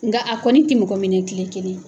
Nka a kɔni tɛ mɔgɔ minɛ kile kelen.